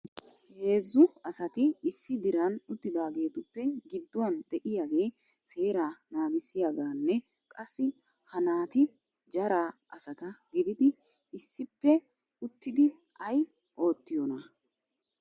Heezzu asati issi diran uttidaagetuppe gidduwan de'iyaage seera naagissiyaaganne qassi ha na"ati jara asata gididi issippe uttidi ay oottiyoona ?